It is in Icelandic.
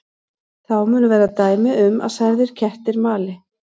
Þá munu vera dæmi um að særðir kettir mali.